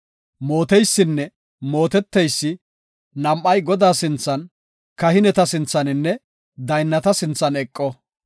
mooteysinne mooteteysi nam7ay Godaa sinthan, kahineta sinthaninne daynnata sinthan eqo.